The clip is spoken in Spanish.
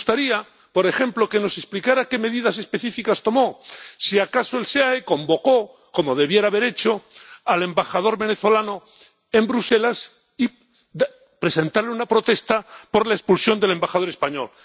Y me gustaría, por ejemplo, que nos explicara qué medidas específicas tomó, si acaso el SEAE convocó —como debería haber hecho― al embajador venezolano en Bruselas para presentar una protesta por la expulsión del embajador español.